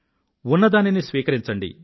ఉన్నదానిని స్వీకరించండి